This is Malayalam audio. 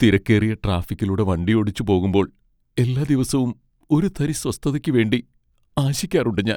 തിരക്കേറിയ ട്രാഫിക്കിലൂടെ വണ്ടിയോടിച്ച് പോകുമ്പോൾ എല്ലാ ദിവസവും ഒരു തരി സ്വസ്ഥതയ്ക്ക് വേണ്ടി ആശിക്കാറുണ്ട് ഞാൻ.